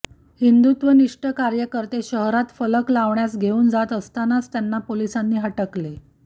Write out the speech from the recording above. हिंदुत्वनिष्ठ कार्यकर्ते शहरात फलक लावण्यास घेऊन जात असतांनाच त्यांना पोलिसांनी हटकले